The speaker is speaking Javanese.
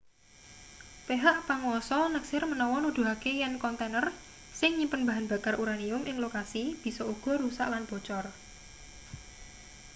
pehak panguwasa neksir menawa nuduhake yen kontaner sing nyimpen bahan bakar uranium ing lokasi bisa uga rusak lan bocor